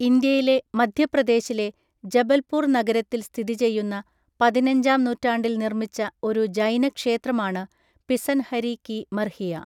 ഇന്ത്യയിലെ മധ്യപ്രദേശിലെ, ജബൽപൂർ നഗരത്തിൽ സ്ഥിതി ചെയ്യുന്ന പതിനഞ്ചാം നൂറ്റാണ്ടിൽ നിർമ്മിച്ച, ഒരു ജൈന ക്ഷേത്രമാണ് പിസൻഹരി കി മർഹിയ.